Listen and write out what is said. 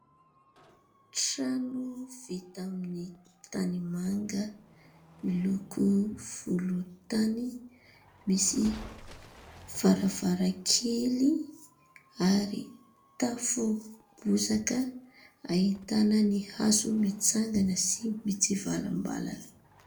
Trano vita amin'ny tanimanga, miloko volontany, misy varavarankely, ary tafo bozaka ahitàna ny hazo mitsangana sy mitsivalambalana.